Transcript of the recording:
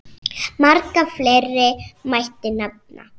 Marga fleiri mætti nefna.